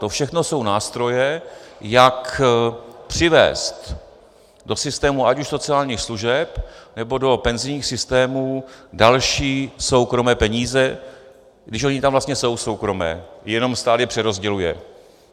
To všechno jsou nástroje, jak přivést do systému ať už sociálních služeb, nebo do penzijních systémů další soukromé peníze, když ony tam vlastně jsou soukromé, jenom stát je přerozděluje.